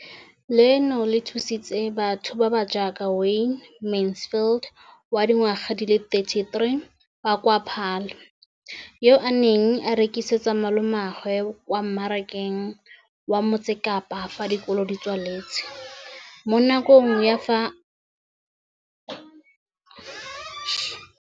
Leno le thusitse batho ba ba jaaka Wayne Mansfield, 33, wa kwa Paarl, yo a neng a rekisetsa malomagwe kwa Marakeng wa Motsekapa fa dikolo di tswaletse, mo nakong ya fa a ne a santse a tsena sekolo, mme ga jaanong o romela diratsuru tsa gagwe kwa dinageng tsa kwa ntle tseo a di lemileng mo polaseng eo ba mo hiriseditseng yona.